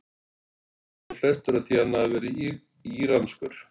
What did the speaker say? Hallast nú flestir að því að hann hafi verið íranskur.